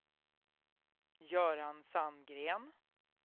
Göran Sandgren